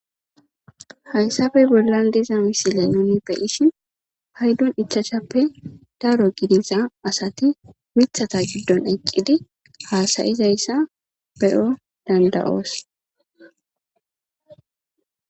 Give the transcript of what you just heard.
Hayssafe bollan diza misile nuni beyishin haydun ichacshappe daro gidisa asati mithata giddon eccidi haasayizayssa be'o dandayoos.